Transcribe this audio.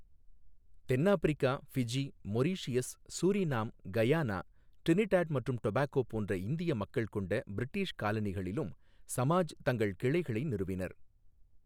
தென்னாப்பிரிக்கா, Fiji, Mauritius, Suriname, Guyana, Trinidad மற்றும் Tobago போன்ற இந்திய மக்கள் கொண்ட பிரிட்டிஷ் காலனிகளிலும் சமாஜ் தங்கள் கிளைகளை நிறுவினர்.